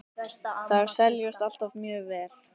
Þær seljast alltaf mjög vel.